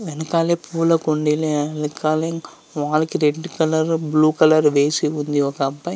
వెనుకాలే పూల కుండీలు వెనకాల వాల్ కి రెడ్ కలర్ బ్లూ కలర్ వేసి ఉంది.ఒక అబ్బాయి--